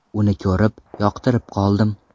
Uni ko‘rib, yoqtirib qoldim.